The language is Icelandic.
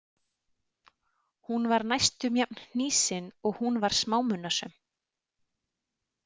Hún var næstum jafn hnýsin og hún var smámunasöm.